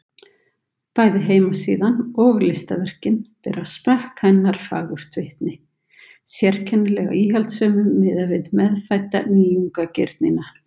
Bæði heimasíðan og listaverkin bera smekk hennar fagurt vitni, sérkennilega íhaldssömum miðað við meðfædda nýjungagirnina.